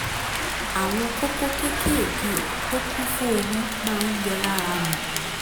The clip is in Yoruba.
àwọn kókó kéékèèké tó kún fún omi máa ń yọ lára mi